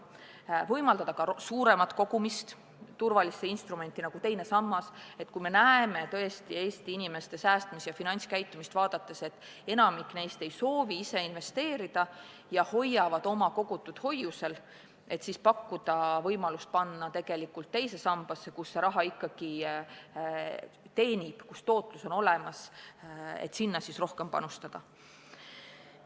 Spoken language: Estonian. Samuti tuleks võimaldada suuremat kogumist turvalisse instrumenti, nagu teine sammas seda on – kui näeme Eesti inimeste säästmis- ja finantskäitumist vaadates, et enamik neist ei soovi ise investeerida ja hoiavad oma raha hoiusel, siis tuleks anda võimalus teise sambasse, kus see raha midagi ikkagi teenib ja kus tootlus on olemas, rohkem panustada.